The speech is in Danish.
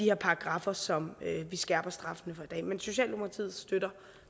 her paragraffer som vi skærper straffene for i dag men socialdemokratiet støtter